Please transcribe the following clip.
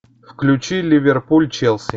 включи ливерпуль челси